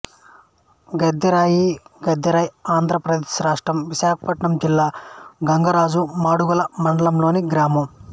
గద్దెరాయి గద్దెరైఆంధ్ర ప్రదేశ్ రాష్ట్రం విశాఖపట్నం జిల్లా గంగరాజు మాడుగుల మండలంలోని గ్రామం